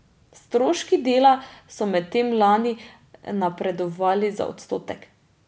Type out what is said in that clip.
Stroški dela so medtem lani napredovali za odstotek.